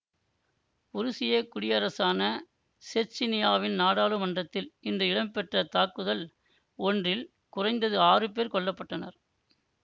உருசிய குடியரசான செச்சினியாவின் நாடாளுமன்றத்தில் இன்று இடம்பெற்ற தாக்குதல் ஒன்றில் குறைந்தது ஆறு பேர் கொல்ல பட்டனர்